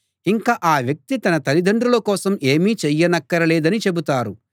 ఇంక ఆ వ్యక్తి తన తల్లిదండ్రుల కోసం ఏమీ చేయనక్కర లేదని చెబుతారు